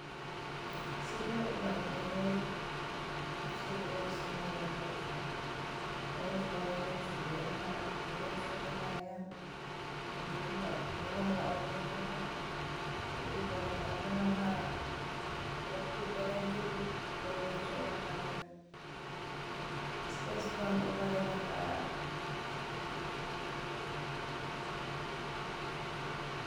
Sideed u bari lahayd qof sida loo sameeyo hawshan Hawshan wa howsha beraha geeda so bahayan geeduha geeda la awuri gaha kedibal warabin. Wakti badan kedi geedi so bahayan saas ban u barilaha.